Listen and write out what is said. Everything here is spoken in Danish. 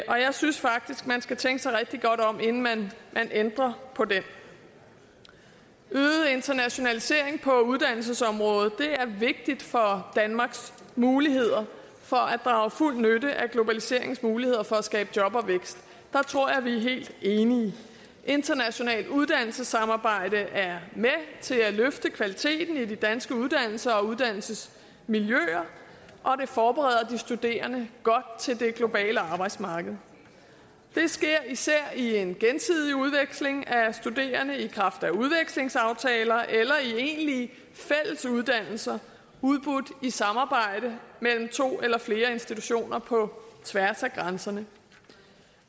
jeg synes faktisk at man skal tænke sig rigtig godt om inden man ændrer på den øget internationalisering på uddannelsesområdet er vigtigt for danmarks muligheder for at drage fuld nytte af globaliseringens muligheder for at skabe job og vækst der tror jeg vi er helt enige internationalt uddannelsessamarbejde er med til at løfte kvaliteten af de danske uddannelser og uddannelsesmiljøer og det forbereder de studerende godt til det globale arbejdsmarked det sker især i en gensidig udveksling af studerende i kraft af udvekslingsaftaler eller i egentlige fælles uddannelser udbudt i samarbejde mellem to eller flere institutioner på tværs af grænserne